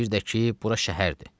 Və bir də ki, bura şəhərdir.